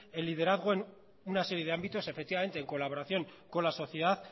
el liderazgo en una serie de ámbitos efectivamente en colaboración con la sociedad